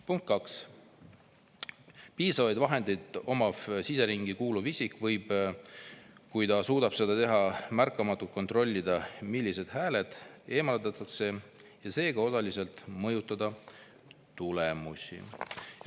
" Punkt 2: "Piisavaid vahendeid omav siseringi kuuluv isik võib, kui ta suudab seda teha, märkamatult kontrollida, millised hääled eemaldatakse, ja seega osaliselt mõjutada tulemusi.